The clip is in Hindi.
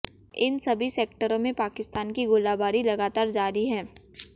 इन सभी सेक्टरों में पाकिस्तान की गोलाबारी लगातार जारी है